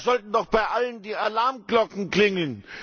Da sollten doch bei allen die Alarmglocken klingeln!